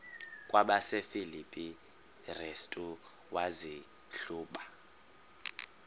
kwabasefilipi restu wazihluba